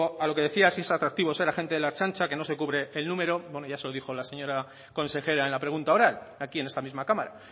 a lo que decía si es atractivo ser agente de la ertzaintza que no se cubre el número bueno ya se lo dijo la señora consejera en la pregunta oral aquí en esta misma cámara